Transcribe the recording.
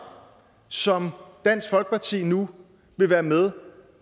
som dansk folkeparti nu vil være med